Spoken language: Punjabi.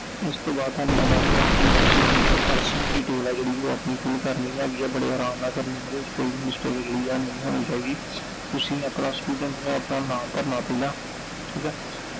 ਇਸ ਤੋਂ ਬਾਅਦ ਥੋਨੂੰ ਮੈਂ ਦੱਸ ਦਵਾਂ ਕਿ ਤੁਸੀਂ ਇਹ personal detail ਐ ਜਿਹੜੀ ਉਹ ਆਪਣੀ fill ਕਰਨੀ ਹੈਗੀ ਐ, ਬੜੇ ਅਰਾਮ ਨਾਲ ਕਰਨੀ ਆ I ਇਹਦੇ ਵਿਚ ਕੋਈ ਵੀ mistake ਜਿਹੜੀ ਐ ਉਹ ਨਹੀਂ ਹੋਣੀ ਚਾਹੀਦੀ I ਤੁਸੀਂ ਆਪਣਾ student ਨੇ ਆਪਣਾ ਨਾਮ ਭਰਨਾ ਪਹਿਲਾਂ, ਠੀਕ ਐI